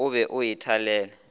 o be o e thalele